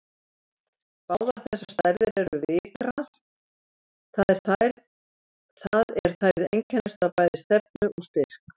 Báðar þessar stærðir eru vigrar, það er þær einkennast af bæði stefnu og styrk.